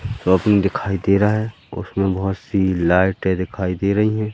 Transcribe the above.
Shopping दिखाई दे रहा है उसमें बहुत सी लाइटें दिखाई दे रही हैं।